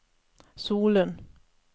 Solund